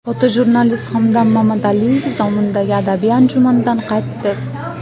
Fotojurnalist Hamdam Mamadaliyev Zomindagi adabiy anjumandan qaytdi.